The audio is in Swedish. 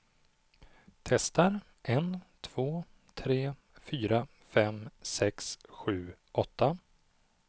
Testar en två tre fyra fem sex sju åtta.